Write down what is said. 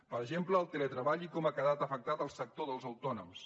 per exemple el treball i com ha quedat afectat el sector dels autònoms